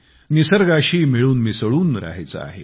निसर्गाशी मिळूनमिसळून राहायचे आहे